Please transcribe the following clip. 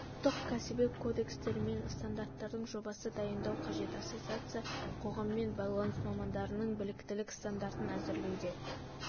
ұлттық кәсіби кодекстер мен стандарттардың жобасы дайындау қажет ассоциация қоғаммен байланыс мамандарының біліктілік стандарын әзірлеуде